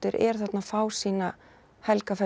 er þarna að fá sína